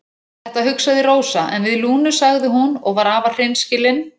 Þetta hugsaði Rósa en við Lúnu sagði hún og var afar hreinskilin